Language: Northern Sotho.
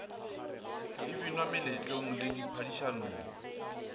e binwa meletlong le diphadišanong